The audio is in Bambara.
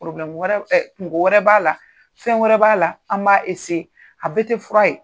kungo wɛrɛ b'a la fɛn wɛrɛ b'a la an b'a a bɛƐ tɛ fura ye